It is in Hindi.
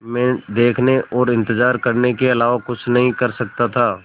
मैं देखने और इन्तज़ार करने के अलावा कुछ नहीं कर सकता था